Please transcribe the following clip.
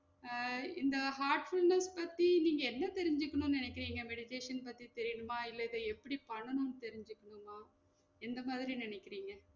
அஹ் இந்த heartfulness பத்தி நீங்க என்ன தெரிஞ்சுக்கனும் நெனைக்குறீங்க meditation பத்தி தெரியனுமா இல்ல இத எப்டி பண்ணனும் தெரிஞ்சிக்கனுமா எந்த மாதிரி நெனைக்குறீங்க?